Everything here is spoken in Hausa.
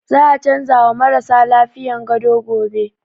Za a canza wa marasa lafiyan gado gobe